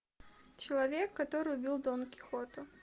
человек который убил дон кихота